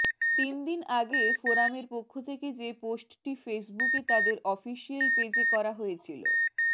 তিন দিন আগে ফোরামের পক্ষ থেকে যে পোস্টটি ফেসবুকে তাদের অফিসিয়াল পেজে করা হয়েছিল